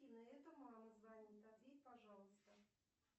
афина это мама звонит ответь пожалуйста